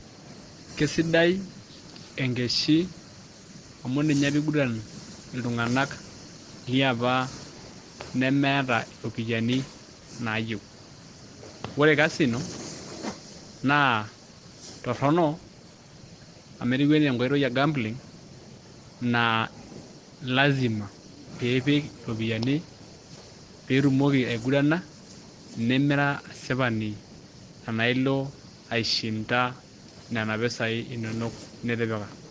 Keisidai enkeshi amu ninye apa iguran iltung'ana liapa nemeeta iropiani nayieu. Ore Kasino naa torono amu ketiu anaa enkoitoi ee gambling naa lazima pipik iropiani pitomoki aigurana, nemira asipani tena ilo aiishinda nena pesai inonok nitipika.